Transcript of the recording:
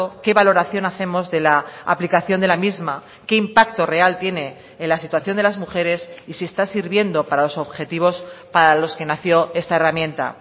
qué valoración hacemos de la aplicación de la misma qué impacto real tiene en la situación de las mujeres y si está sirviendo para los objetivos para los que nació esta herramienta